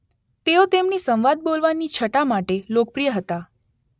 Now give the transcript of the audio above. તેઓ તેમની સંવાદ બોલવાની છટા માટે લોકપ્રિય હતા.